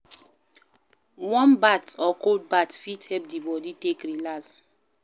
Warm bath or cold bath fit help di body take relax